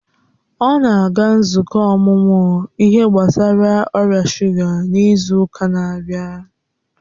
ọ na-aga nzukọ ọmụmụ ihe gbasara ọrịa shuga n'izu ụka na-abịa